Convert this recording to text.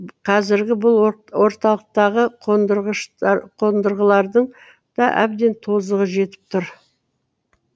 қазіргі бұл орталықтағы қондырғылардың да әбден тозығы жетіп тұр